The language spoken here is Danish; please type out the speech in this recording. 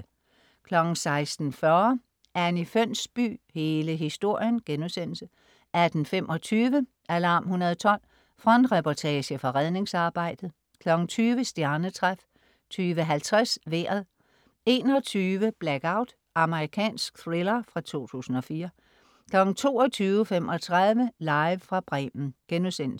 16.40 Anni Fønsby. Hele historien* 18.25 Alarm 112. frontreportage fra redningsarbejdet 20.00 Stjernetræf 20.50 Vejret 21.00 Blackout. Amerikansk thriller fra 2004 22.35 Live fra Bremen*